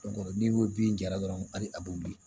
n'i ko bin jara dɔrɔn ali a be wuli